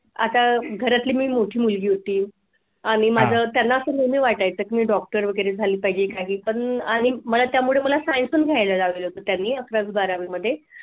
आता घरातली मी मोठी मुलगी होती आणि माझं त्यांना असं नेहमी वाटायचं की मी doctor वगैरे झाली पाहिजे काही पण आणि मला त्यामुळे science पण घ्यायला लावलं होतं त्यांनी अकरावी बारावी मध्ये